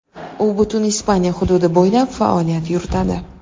U butun Ispaniya hududi bo‘ylab faoliyat yuritadi.